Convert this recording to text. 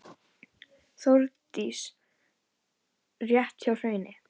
Þórdís: Rétt hjá Hrauni?